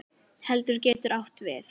Keldur getur átt við